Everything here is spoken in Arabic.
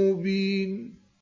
مُّبِينٌ